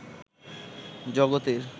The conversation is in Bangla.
জগতের